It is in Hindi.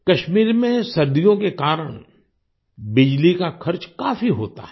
कश्मीर में सर्दियों के कारण बिजली का खर्च काफी होता है